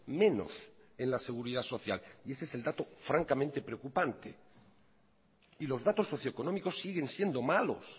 menos en la seguridad social y ese es el dato francamente preocupante y los datos socioeconómicos siguen siendo malos